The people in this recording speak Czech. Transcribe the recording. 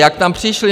Jak tam přišli?